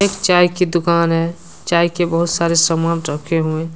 चाय की दुकान है चाय के बहुत सारे सामान रखे हुए--